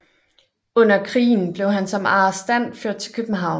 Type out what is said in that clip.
Under krigen blev han som arrestant ført til København